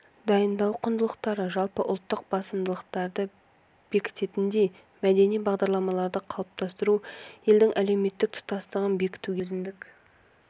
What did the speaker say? дайындау құндылықтары жалпы ұлттық басымдылықтарды бекітетіндей мәдени бағдарларды қалыптастыру елдің әлеуметтік тұтастығын бекітуге мәдениеттің өзіндік